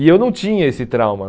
E eu não tinha esse trauma.